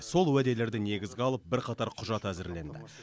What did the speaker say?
сол уәделерді негізге алып бірқатар құжат әзірленді